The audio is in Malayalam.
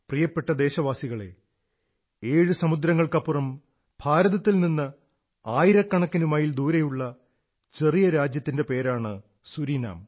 പ്രിയപ്പെട്ട ദേശവാസികളേ ഏഴു സമുദ്രങ്ങൾക്കപ്പുറം ഭാരതത്തിൽ നിന്ന് ആയിരക്കണക്കിന് മൈൽ ദൂരെയുള്ള ഒരു ചെറിയ രാജ്യത്തിന്റെ പേരാണ് സുരീനാം